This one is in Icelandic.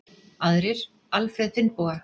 Aðrir: Alfreð Finnboga.